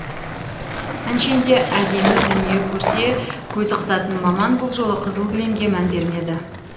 әншейінде әдемі дүние көрсе көзі қызатын мамам бұл жолы қызыл кілемге мән бермеді